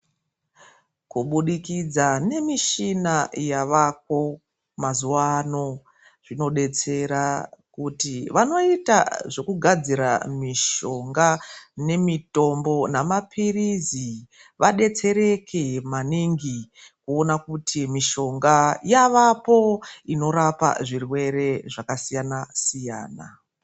Kubudikidza nemishina yavako mazuwa ano, zvinodetsera kuti vanoita zvekugadzira mishonga nemitombo nemaparizi vadetsereke maningi kuona kuti mishonga yavapo inorapa zvirwere zvakasiyana siyana.